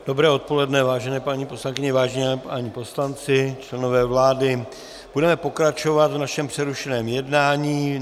Dobré odpoledne, vážené paní poslankyně, vážení páni poslanci, členové vlády, budeme pokračovat v našem přerušeném jednání.